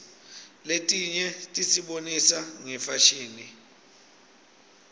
letinye tisibonisa ngefashini